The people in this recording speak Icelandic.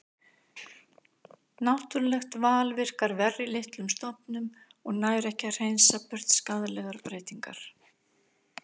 Náttúrulegt val virkar verr í litlum stofnum og nær ekki að hreinsa burt skaðlegar breytingar.